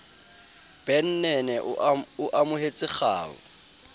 ben nene o amohetse kgau